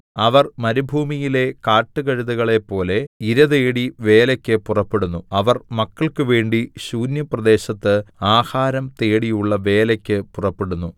അവർ മരുഭൂമിയിലെ കാട്ടുകഴുതകളെപ്പോലെ ഇരതേടി വേലയ്ക്ക് പുറപ്പെടുന്നു അവർ മക്കൾക്കുവേണ്ടി ശൂന്യപ്രദേശത്ത് ആഹാരം തേടിയുള്ള വേലയ്ക്ക് പുറപ്പെടുന്നു